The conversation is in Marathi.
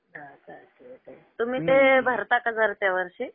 हा का. तुम्ही ते भरता का दरच्या वर्षी?